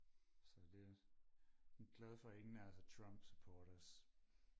så det jeg er glad for at ingen af os er Trump supporters